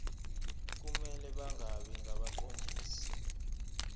kumele bangabi ngabaqondisi